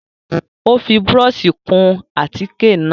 Ó fi búrọ́ọ̀ṣì kun àtíkè náà.